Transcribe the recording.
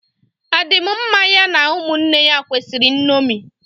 A dị m mmá ya na ụmụnne ya kwesịrị nnomi